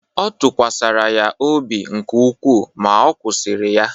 Ọ tụkwasịkwara ya obi nke ukwuu, ma ọ kwụsịrị ya